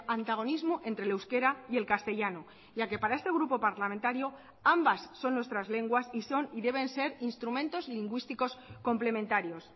antagonismo entre el euskera y el castellano ya que para este grupo parlamentario ambas son nuestras lenguas y son y deben ser instrumentos lingüísticos complementarios